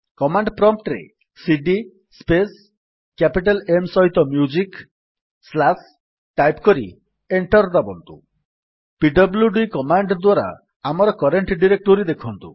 command prompt ରେ CD space music capital M slash type କରି enter ଦାବନ୍ତୁ ପିଡବ୍ଲ୍ୟୁଡି କମାଣ୍ଡ୍ ଦ୍ୱାରା ଆମର କରେଣ୍ଟ୍ ଡିରେକ୍ଟୋରୀ ଦେଖନ୍ତୁ